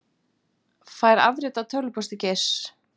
Fær afrit af tölvupósti Geirs